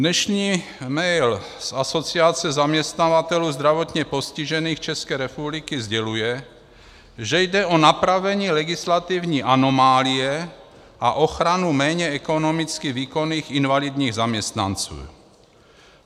Dnešní mail z Asociace zaměstnavatelů zdravotně postižených České republiky sděluje, že jde o napravení legislativní anomálie a ochranu méně ekonomicky výkonných invalidních zaměstnanců.